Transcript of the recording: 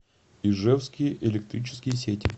ижевские электрические сети